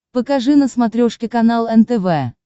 покажи на смотрешке канал нтв